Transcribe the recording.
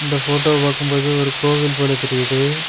இந்த போட்டோவ பாக்கும் போது ஒரு கோவில் போல தெரியுது.